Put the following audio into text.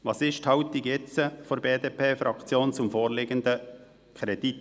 Welches ist heute die Haltung der BDP-Fraktion zum vorliegenden Kredit?